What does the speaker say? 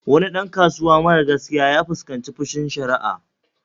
Wani ɗan kasuwa mara gaskiya ya fuskanci fushin sharia